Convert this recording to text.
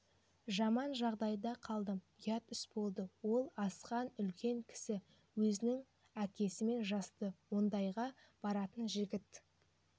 жаман жағдайда қалдым ұят іс болды ол асқан үлкен кісі өзінің әкесімен жасты ондайға баратын жігіт